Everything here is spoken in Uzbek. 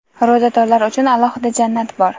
Ro‘zadorlar uchun alohida jannat bor.